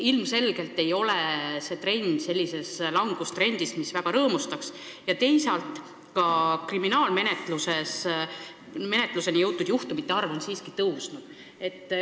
Ilmselgelt ei ole see selline langustrend, mis väga rõõmustaks, ja teisalt, ka nende juhtumite arv, mille puhul on algatatud kriminaalmenetlus, on siiski suurenenud.